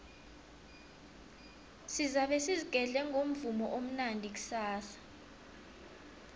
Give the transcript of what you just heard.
sizabe sizigedle ngomvumo omnandi kusasa